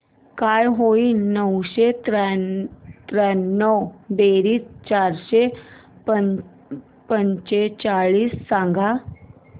काय होईल नऊशे त्र्याण्णव बेरीज चारशे चव्वेचाळीस सांग